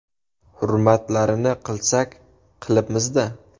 Hurmatlarini qilsak, qilibmiz-da.